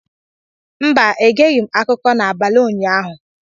Mba, egeghị m akụkọ n’abalị ụnyaahụ